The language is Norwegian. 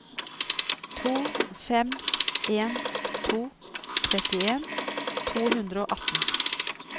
to fem en to trettien to hundre og atten